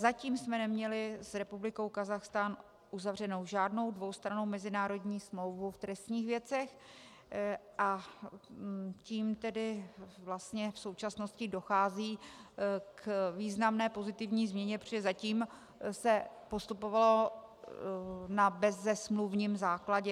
Zatím jsme neměli s Republikou Kazachstán uzavřenu žádnou dvoustrannou mezinárodní smlouvu v trestních věcech, a tím tedy vlastně v současnosti dochází k významné pozitivní změně, protože zatím se postupovalo na bezesmluvním základě.